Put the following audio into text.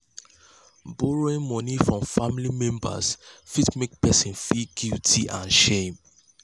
borrowing money from family members fit make person feel guilt and shame.